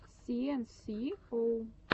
си эн си оу